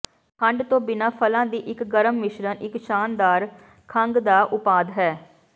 ਖੰਡ ਤੋਂ ਬਿਨਾਂ ਫਲਾਂ ਦੀ ਇੱਕ ਗਰਮ ਮਿਸ਼ਰਣ ਇੱਕ ਸ਼ਾਨਦਾਰ ਖੰਘ ਦਾ ਉਪਾਦ ਹੈ